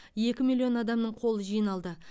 екі миллион адамның қолы жиналды